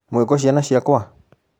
Mwĩkũ ciana ciakũa?